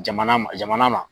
Jamana jamana ma.